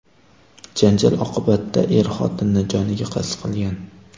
Janjal oqibatida er xotinini joniga qasd qilgan.